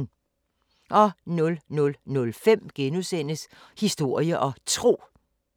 00:05: Historie og Tro *